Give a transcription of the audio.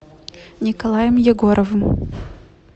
николаем егоровым